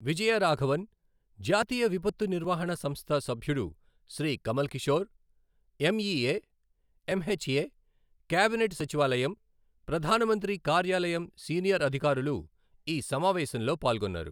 విజయరాఘవన్, జాతీయ విపత్తు నిర్వహణ సంస్థ సభ్యుడు Shri Kamal Kishore, MEA, MHA, cabinet సచివాలయం, ప్రధానమంత్రి కార్యాలయం సీనియర్ అధికారులు ఈ సమావేశంలో పాల్గొన్నారు.